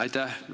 Aitäh!